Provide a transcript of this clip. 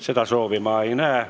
Seda soovi ma ei näe.